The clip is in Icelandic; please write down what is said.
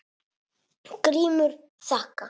GRÍMUR: Þakka.